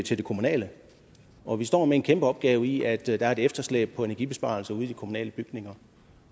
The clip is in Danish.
til det kommunale og vi står med en kæmpe opgave i at der er et efterslæb på energibesparelser ude i de kommunale bygninger